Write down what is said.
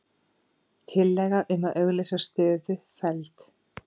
Tillaga um að auglýsa stöðu felld